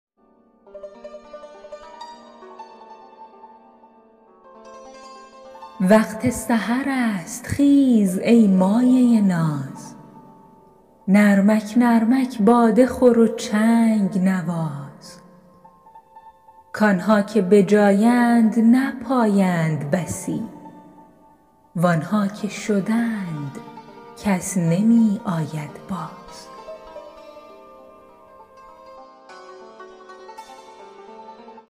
وقت سحر است خیز ای مایه ناز نرمک نرمک باده خور و چنگ نواز کآنها که به جایند نپایند بسی وآنها که شدند کس نمی آید باز